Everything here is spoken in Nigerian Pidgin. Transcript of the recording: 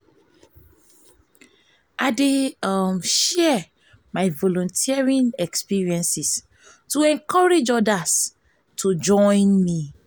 i dey um share my volunteering experiences to encourage odas to odas to join me.